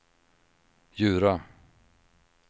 Djura